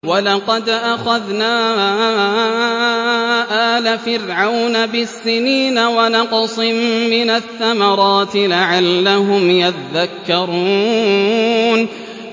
وَلَقَدْ أَخَذْنَا آلَ فِرْعَوْنَ بِالسِّنِينَ وَنَقْصٍ مِّنَ الثَّمَرَاتِ لَعَلَّهُمْ يَذَّكَّرُونَ